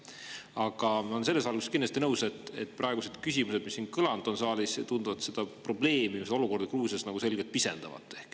Aga ma olen selles valguses kindlasti teiega nõus, et küsimused, mis siin saalis praegu kõlanud on, tunduvad seda probleemi, seda olukorda Gruusias selgelt pisendavat.